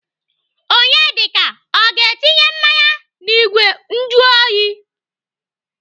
Onyedika ọ ga-etinye mmanya n'igwe njuoyi?